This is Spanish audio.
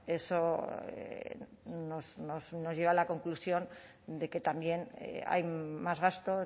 también eso nos lleva a la conclusión de que también hay más